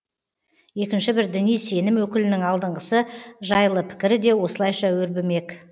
екінші бір діни сенім өкілінің алдыңғысы жайлы пікірі де осылайша өрбімек